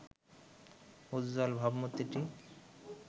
উজ্জ্বল ভাবমূর্তিটি